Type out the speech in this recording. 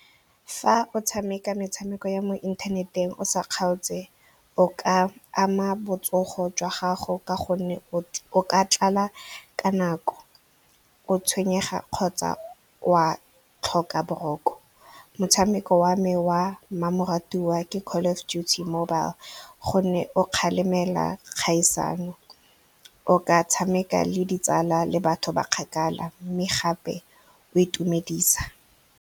Fa o tshameka metshameko ya mo inthaneteng o sa kgaotse, o ka ama botsogo jwa gago ka gonne o ka tlala ka nako, o tshwenyega kgotsa wa tlhoka boroko. Motshameko wa me wa mmamoratwa ke Call of Duty Mobile gonne o kgalemela kgaisano. O ka tshameka le ditsala le batho ba kgakala mme gape o itumedisa.